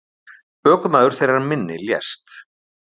Ökumaður þeirrar minni lést.